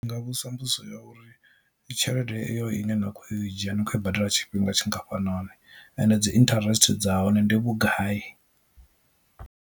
Ndi nga vhudzisa mbudziso ya uri tshelede iyo ine na kho ya u i dzhia ni kho i badela tshifhinga tshingafhanani and dzi interest dza hone ndi vhugai.